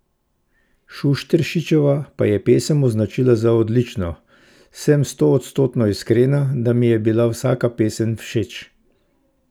Šušteršičeva pa je pesem označila za odlično: 'Sem stoodstotno iskrena, da mi je bila vsaka pesem všeč.